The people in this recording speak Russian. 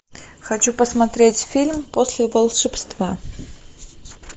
хочу посмотреть фильм после волшебства